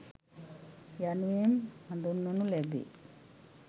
යනුවෙන් හඳුන්වනු ලැබේ.